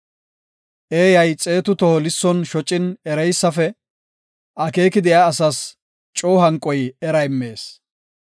Eeyay xeetu toho lisson shocin ereysafe; akeeki de7iya asas coo hanqoy era immees.